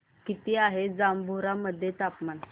किती आहे जांभोरा मध्ये तापमान